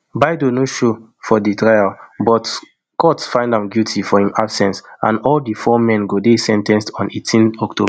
baidoo no show for di trial but court find am guilty for im absence and all di four men go dey sen ten ced on eighteen october